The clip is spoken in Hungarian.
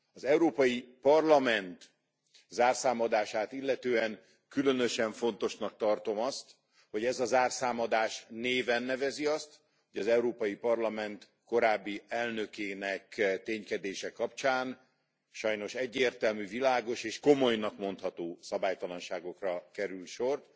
Az Európai Parlament zárszámadását illetően különösen fontosnak tartom azt, hogy ez a zárszámadás néven nevezi azt, hogy az Európai Parlament korábbi elnökének ténykedése kapcsán sajnos egyértelmű, világos és komolynak mondható szabálytalanságokra került sor.